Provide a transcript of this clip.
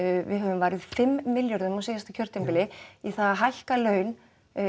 við höfum varið fimm milljörðum á síðasta kjörtímabili í það að hækka laun